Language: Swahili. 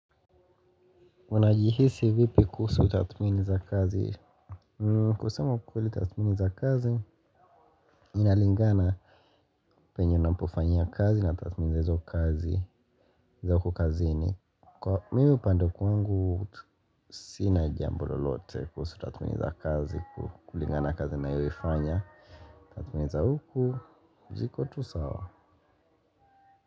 Una jihisi vipi kuusu tathmini za kazi. Kusema ukweli tathmini za kazi Inalingana Penye unapofanyia kazi na tatumini za kazi za huku kazini. Kwa mimi upande wa kwangu sina jambo lolote kusu tathmini za kazi kulingana na kazi nayo ifanya. Tumeneza huku jikotu sawa.